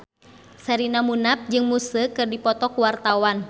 Sherina Munaf jeung Muse keur dipoto ku wartawan